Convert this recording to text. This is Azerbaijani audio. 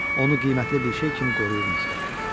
Onu qiymətli bir şey kimi qoruyurmuşdular.